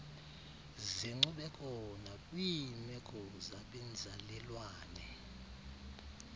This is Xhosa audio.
zenkcubeko nakwiimeko zabenzalelwane